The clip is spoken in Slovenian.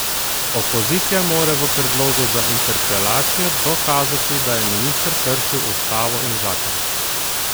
Opozicija mora v predlogu za interpelacijo dokazati, da je minister kršil ustavo ali zakon.